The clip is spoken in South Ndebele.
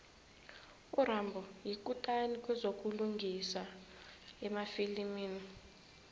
urambo yikutani kwezokulingisa emafilimini